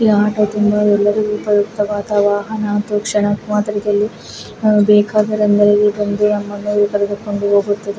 ಈ ಆಟೋ ತುಂಬ ಉಪಯುಕ್ತವಾದ ವಾಹನ ಬೇಕೆಂದರೆ